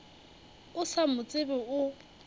o sa mo tsebe o